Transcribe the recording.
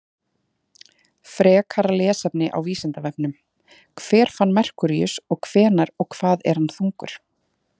Frekara lesefni á Vísindavefnum: Hver fann Merkúríus og hvenær og hvað er hann þungur?